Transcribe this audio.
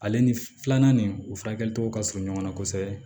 Ale ni filanan nin u furakɛli togo ka surun ɲɔgɔn na kosɛbɛ